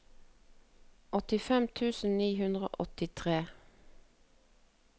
åttifem tusen ni hundre og åttitre